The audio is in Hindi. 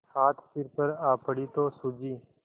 आज सिर पर आ पड़ी तो सूझी